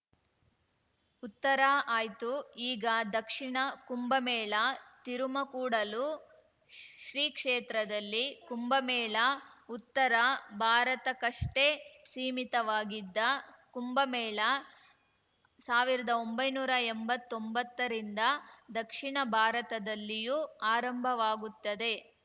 ಉತ್ತರ ಆಯ್ತು ಈಗ ದಕ್ಷಿಣ ಕುಂಭಮೇಳ ತಿರುಮಕೂಡಲು ಶ್ರೀಕ್ಷೇತ್ರದಲ್ಲಿ ಕುಂಭಮೇಳ ಉತ್ತರ ಭಾರತಕ್ಕಷ್ಟೇ ಸೀಮಿತವಾಗಿದ್ದ ಕುಂಭಮೇಳ ಸಾವಿರದೊಂಭೈನೂರಾ ಎಂಬತ್ತೊಂಬತ್ತರಿಂದ ದಕ್ಷಿಣ ಭಾರತದಲ್ಲಿಯೂ ಆರಂಭವಾಗುತ್ತದೆ